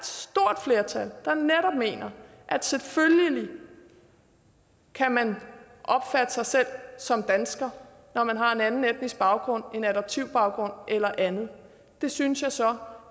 stort flertal der netop mener at selvfølgelig kan man opfatte sig selv som dansker når man har en anden etnisk baggrund en adoptivbaggrund eller andet det synes jeg så